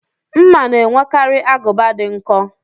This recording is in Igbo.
Mma na-enwekarị agụba dị nkọ